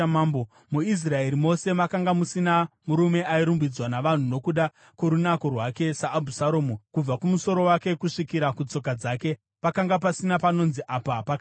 MuIsraeri mose makanga musina murume airumbidzwa navanhu nokuda kworunako rwake saAbhusaromu. Kubva kumusoro wake kusvikira kutsoka dzake pakanga pasina panonzi apa pakaipa.